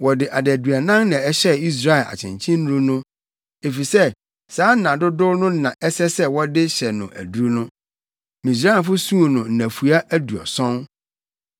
Wɔde adaduanan na ɛhyɛɛ Israel akyenkyennuru no, efisɛ saa nna dodow no na ɛsɛ sɛ wɔde hyɛ no aduru no. Misraimfo suu no nnafua aduɔson.